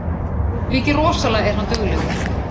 Mikið rosalega er hann duglegur